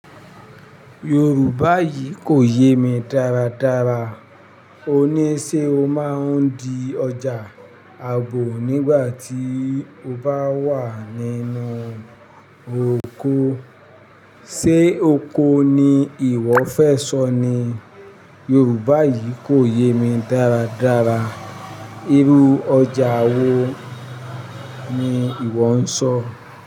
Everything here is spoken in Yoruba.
Yorùbá yìí kò yé mi dáradára. Òní ṣe o máa ń di ọjà ààbò nígbà tí o bá wà nínú oko? Sé oko ni ìwọ fẹ́ sọ ni? Yorùbá yìí kò yé mi dáradára. Irú ọjà wo ni ìwọ ń sọ?